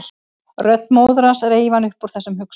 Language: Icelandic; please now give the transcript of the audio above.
Rödd móður hans reif hann upp úr þessum hugsunum.